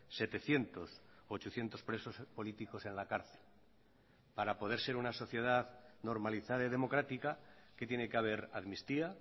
setecientos o ochocientos presos políticos en la cárcel para poder ser una sociedad normalizada y democrática qué tiene que haber amnistía